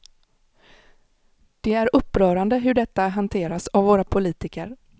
Det är upprörande hur detta hanterats av våra politiker.